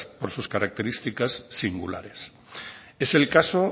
por sus características singulares es el caso